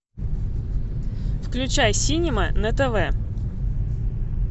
включай синема на тв